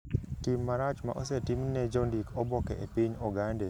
Tim marach ma osetim ne jondik oboke e piny Ogande, ok osemiyo jondik oboke kende okethore.